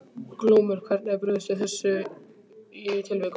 Glúmur: Hvernig er brugðist við í þessum tilvikum?